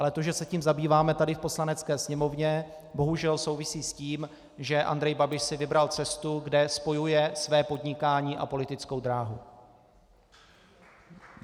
Ale to, že se tím zabýváme tady v Poslanecké sněmovně, bohužel souvisí s tím, že Andrej Babiš si vybral cestu, kde spojuje své podnikání a politickou dráhu.